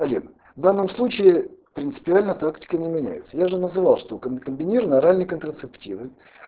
олег в данном случае принципиально тактика не меняется я же называл что ком комбинированные оральные контрацептивы